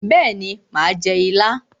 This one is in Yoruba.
Bẹ́ẹ̀ni mà á jẹ ilá.